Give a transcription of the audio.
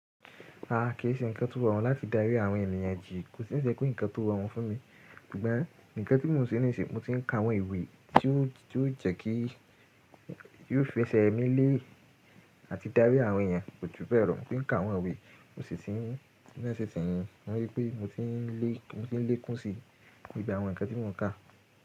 Rárá kì í ṣe ǹkan to rọrun láti dárí àwọn ènìyàn jì, kò sì ń se pe nkan to rọrun fún mi. Ṣùgbọ́n nkan ti mo ń se nísin, mọ̀ ti ń ka àwọn ìwé tí ó ti ó jẹ́kí tió fẹsẹ̀ mí lé àti dárí àwọn ènìyàn, kò ju bẹ̀ lọ, mo ti n ka àwọn ìwé, mo sì ti mo ri pé mọ̀ ti ń lé kún sí gbogbo àwọn nkan ti mo ń ka.